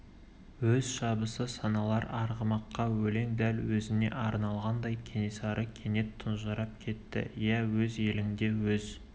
өз шабысы саналар арғымаққа өлең дәл өзіне арналғандай кенесары кенет тұнжырап кетті иә өз еліңде өз